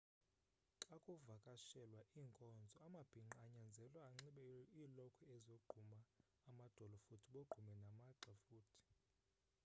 xakuvakashelwa iinkonzo amabhingqa anyanzelwa anxibe iilokhwe ezogquma amadolo futhi bogqume namagxa futhi